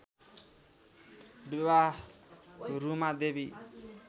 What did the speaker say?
विवाह रुमा देवी